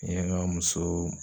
N ye ŋa musoo